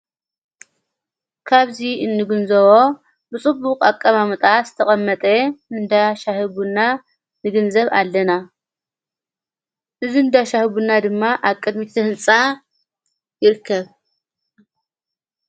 ካብዙይ እንግንዘዎ ብጽቡቕ ኣቀማምጣ ዝተቐመጠ እንዳሻሕቡና ንግንዘብ ኣለና እዝ እንዳሻሕቡና ድማ ኣቅድሚትተሕንፃ ይርከብ።